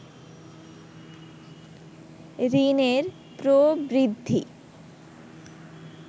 ঋণের প্রবৃদ্ধি